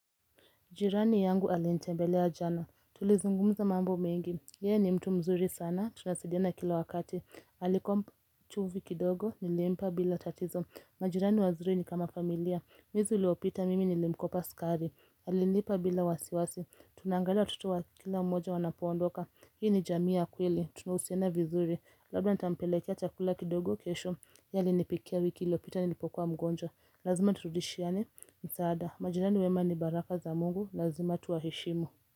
Jirani yangu alintembelea jana, tulizungumza mambo mengi, yeye ni mtu mzuri sana, tunasaidiana kila wakati, alikuwa mchovu kidogo, nilimpa bila tatizo, majirani wazuri ni kama familia, mwezi uliopita mimi nilimkopa sukari, alinipa bila wasiwasi, tunaangalia watoto wa kila mmoja wanapoondoka, hii ni jamii ya kweli, tunuhusiana vizuri, labda nitampelekea chakula kidogo kesho, yeye alinipikia wiki iliopita nilipokuwa mgonjwa, lazima turudishiane msaada, majirani wema ni baraka za mungu, lazima tuwaheshimu.